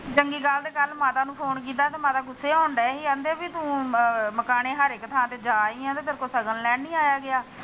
ਚੰਗੀ ਗੱਲ ਤੇ ਕੱਲ ਮਾਤਾ ਨੂੰ ਫੋਨ ਕੀਤਾ ਮਾਤਾ ਗੁਸੇ ਹੋਣ ਡੇਹੀ ਕਹਿੰਦੇ ਤੂੰ ਹੁਣ ਮਕਾਣੇ ਹਾਰੇਕ ਥਾ ਤੇ ਜਾ ਆਈ ਆ ਤੈਨੂੰ ਸ਼ਗਨ ਲੈਣ ਨੀ ਆਇਆ ਗਿਆ।